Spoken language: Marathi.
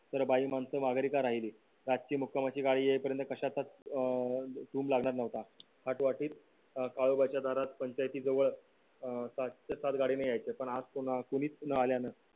सारे बाई माणसं माघारी का राहिले तर आजची मुक्कामाची गाडी येईपर्यंत. कशातच अं लागणार नव्हता काळोबाच्य़ा दारात पंचाय़ती जवळ अं छे सात गाड्नेय़ाने यायचे पण अं आज कोणीच न आल्यानं